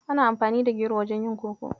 Ana amfani da gero wajen yin Koko.